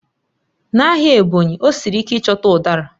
N'ahịa Ebonyi, ọ siri ike ịchọta Udara